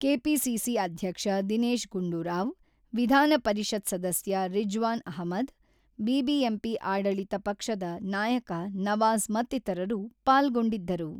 KPCC ಅಧ್ಯಕ್ಷ ದಿನೇಶ್ ಗುಂಡೂರಾವ್, ವಿಧಾನ ಪರಿಷತ್ ಸದಸ್ಯ ರಿಜ್ವಾನ್ ಅಹಮದ್, ಬಿಬಿಎಂಪಿ ಆಡಳಿತ ಪಕ್ಷದ ನಾಯಕ ನವಾಜ್ ಮತ್ತಿತರರು ಪಾಲ್ಗೊಂಡಿದ್ದರು.